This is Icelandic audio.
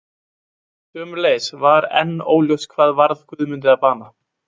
Sömuleiðis var enn óljóst hvað varð Guðmundi að bana.